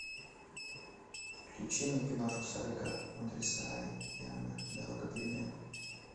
включи мне киношку сарика андреасяна дорога перемен